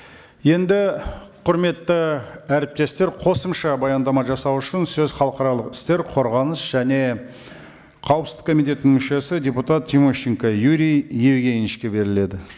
енді құрметті әріптестер қосымша баяндама жасау үшін сөз халықаралық істер қорғаныс және қауіпсіздік комитетінің мүшесі депутат тимощенко юрий евгеньевичке беріледі